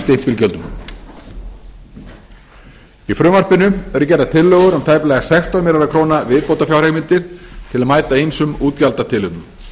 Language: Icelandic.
stimpilgjöldum í frumvarpinu eru gerðar tillögur um tæplega sextán milljónum króna viðbótarfjárheimildir til að mæta ýmsum útgjaldatilefnum